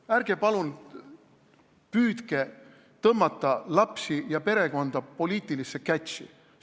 Ärge palun püüdke tõmmata lapsi ja perekonda poliitilisse kätši.